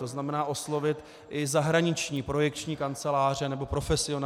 To znamená, oslovit i zahraniční projekční kanceláře nebo profesionály.